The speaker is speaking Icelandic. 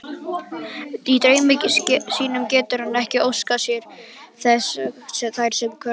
Í draumi sínum getur hann ekki óskað þess þær hverfi.